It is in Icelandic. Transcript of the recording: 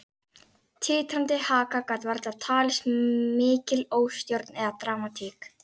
Titrandi haka gat varla talist mikil óstjórn eða dramatík.